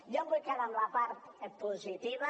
jo em vull quedar amb la part positiva